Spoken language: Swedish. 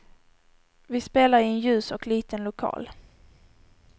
Vi spelar i en ljus och liten lokal.